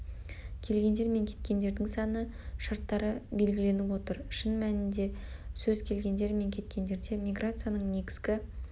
келгендер мен кеткендердің саны шартты белгіленіп отыр шын мәнінде сөз келгендер мен кеткендерде миграцияның негізгі